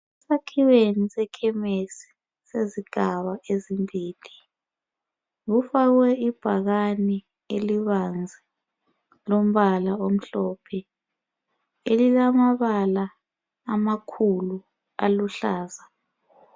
Esakhiweni sekhemesi sezigaba ezimbili kufakwe ibhakani elibanzi lombala omhlophe, elilamabala amakhulu aluhlaza.